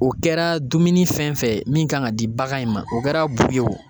O kɛra dumuni fɛn fɛn ye, min kan ka di bagan in ma .O kɛra bu ye wo